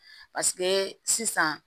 Paseke sisan